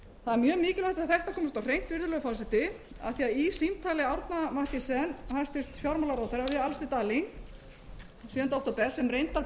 er mjög mikilvægt að þetta komist á hreint virðulegur forseti af því í símtali árna mathiesen hæstvirtur fjármálaráðherra við alistair darling sjöunda október sem reyndar